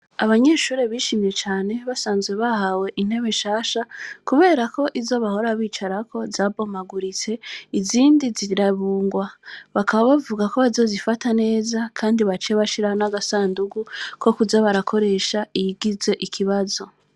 Abanyeshure bishimye cane basanzwe bahawe intebe shasha, kubera ko izo bahora bicarako zabomaguritse izindi zirabungwa bakaba bavuga ko bazozifata neza, kandi bace bashira n'agasandugu ko kuza barakoresha iyigize ikibazo.